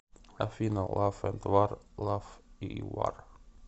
афина лав энд вар лав и вар